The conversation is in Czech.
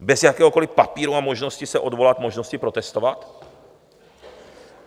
Bez jakéhokoliv papíru a možnost se odvolat, možnosti protestovat?